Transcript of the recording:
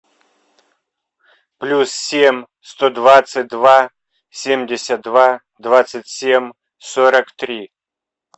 плюс семь сто двадцать два семьдесят два двадцать семь сорок три